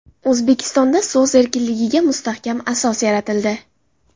O‘zbekistonda so‘z erkinligiga mustahkam asos yaratildi.